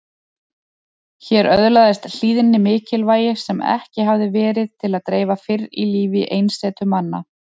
Hér öðlaðist hlýðni mikilvægi sem ekki hafði verið til að dreifa fyrr í lífi einsetumanna.